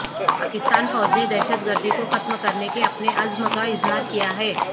پاکستان فوج نے دہشت گردی کو ختم کرنے کے اپنے عزم کا اظہار کیا ہے